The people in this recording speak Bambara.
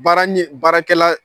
Baara ɲe baarakɛla